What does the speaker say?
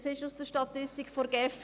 Das ist aus der Statistik der GEF.